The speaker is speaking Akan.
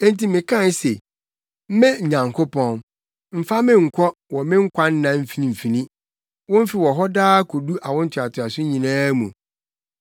Enti mekae se, “Me Onyankopɔn, mfa me nkɔ, wɔ me nkwa nna mfimfini; wo mfe wɔ hɔ daa kodu awo ntoatoaso nyinaa mu.